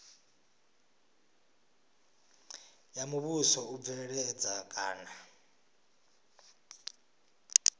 ya muvhuso u bveledza kana